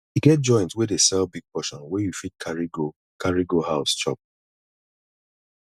e get joint wey dey sell big portion wey you fit carry go carry go house chop